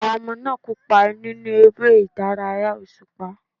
Àwọn ọmọ náà kópa nínú eré ìdárayá òṣùpá.